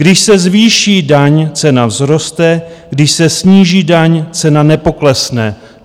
Když se zvýší daň, cena vzroste, když se sníží daň, cena nepoklesne.